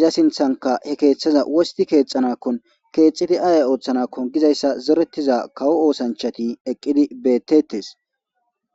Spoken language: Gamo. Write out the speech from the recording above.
iza sinthanka he keeththaza wosti keexanakkon keexxiti ayay ooththanakko gizayssa zoretiza kawo oosanchati eqqidi beettetes